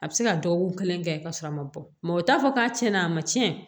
A bɛ se ka dɔgɔkun kelen kɛ ka sɔrɔ a ma bɔ o t'a fɔ k'a tiɲɛna a ma tiɲɛ